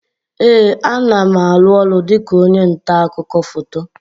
Ee, a na m aru ọrụ dịka onye nta akụkọ foto